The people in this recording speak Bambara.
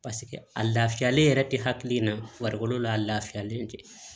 paseke a lafiyalen yɛrɛ te hakili in na farikolo la a lafiyalen tɛ